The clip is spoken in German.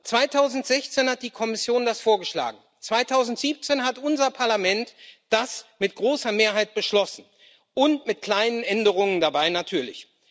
2016 hat die Kommission das vorgeschlagen, 2017 hat unser Parlament das mit großer Mehrheit beschlossen und mit kleinen Änderungen dabei natürlich.